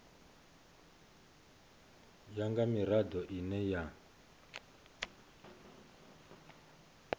ya nga mirado ine ya